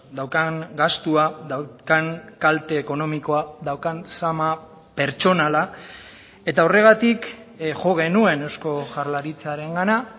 daukan gastua daukan kalte ekonomikoa daukan zama pertsonala eta horregatik jo genuen eusko jaurlaritzarengana